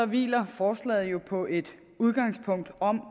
hviler forslaget jo på et udgangspunkt om